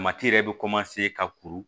yɛrɛ bɛ ka kuru